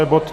Je to